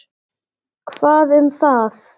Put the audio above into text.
Hvað um það!